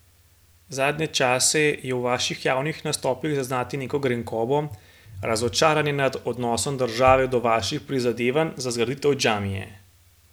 Zadnje čase je v vaših javnih nastopih zaznati neko grenkobo, razočaranje nad odnosom države do vaših prizadevanj za zgraditev džamije.